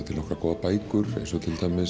til nokkrar góðar bækur eins og